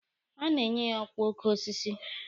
A ga-enye ya ọkwa oke osisi.